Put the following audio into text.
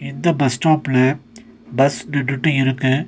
இந்த பஸ் ஸ்டாப்ல பஸ் நின்னுட்டு இருக்கு.